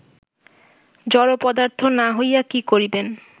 জড়পদার্থ না হইয়া কি করিবেন